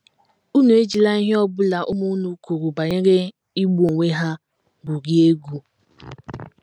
Unu ejila ihe ọ bụla ụmụ unu kwuru banyere igbu onwe ha gwurie egwu.